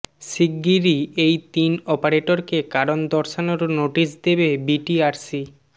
শিগগিরই এই তিন অপারেটরকে কারণ দর্শানোর নোটিশ দেবে বিটিআরসি